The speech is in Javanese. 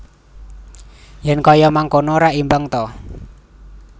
Yen kaya mangkono rak imbang ta